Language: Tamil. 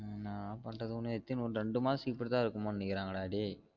ஏன்னா பண்றது ஒன்னும் எத்தினி ஒரு ரெண்டு மாசத்துக்ககு இப்புடி தான் இருக்குமோ நினைக்றாங்க டா டேய்